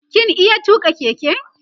kin iya tuka Keke?